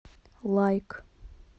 лайк